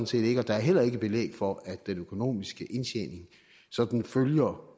set ikke og der er heller ikke belæg for at den økonomiske indtjening sådan følger